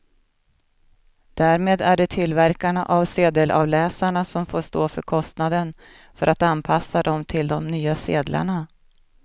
Därmed är det tillverkarna av sedelavläsarna som får stå för kostnaden för att anpassa dem till de nya sedlarna.